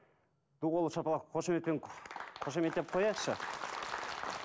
ду қол шапалақ қошеметпен қошеметтеп қояйықшы